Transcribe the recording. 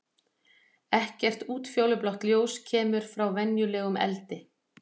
Ekkert útfjólublátt ljós kemur frá venjulegum eldi.